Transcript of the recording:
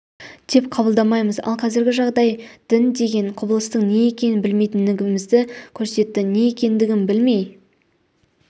деп қабылдамаймыз ал қазіргі жағдай дін деген құбылыстың не екенін білмейтіндігімізді көрсетті не екендігін білмей